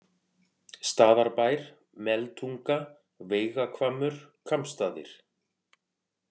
Staðarbær, Meltunga, Veigahvammur, Kambsstaðir